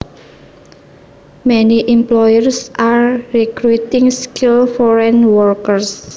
Many employers are recruiting skilled foreign workers